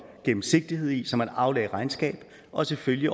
gennemsigtighed i så man aflagde regnskab og selvfølgelig